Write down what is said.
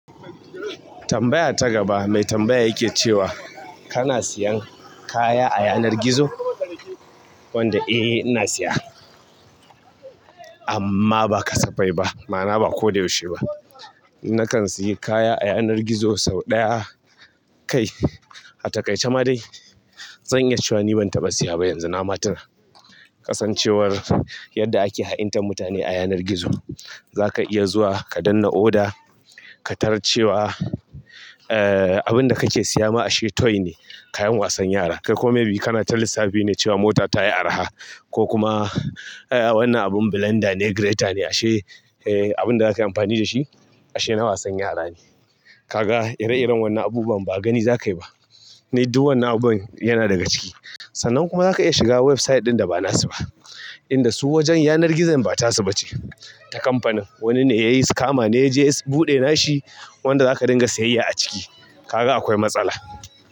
Tambaya ta gaba mai tambaya yake cewa kana siyan kaya a yanar gizo? Wanda eh ina siya, amma ba kasa fai ba. Ma'ana ba ko da yaushe ba. Nakan siyi kaya a yanar gizo sau ɗaya kai, a ta kai ce ma dai zan iya cewa ni ban taɓa siyaba yanzu. Na ma tuna ƙasancewar yadda ake ha'intar mutane a yanar gizo. Zaka iya zuwa ka danna oda, ka tarar cewa abinda kake siya ma ashe toy ne, kayan wasan yara. Kai kome biyu kana tallisa biyu ne cewa mota tayi araha. Ko kuma eeh wannan abun blender ne grater ne ashe eh abinda zaka yi amfani da shi ashe na wasan yara ne. Kaga ire-iren wannan abubuwan ba gani zakayi ba. Ni duk wannan abun yana daga ciki. Sannan kuma zaka iya shiga website ɗin da ba nasu ba, inda su wajen yanar gizon ba tasu ba ce ta kamfanin. Wanni ne yayi scama ne ya je ya buɗe nashi, wanda zaka dinga sayayya a ciki. Kaga akwai matsala.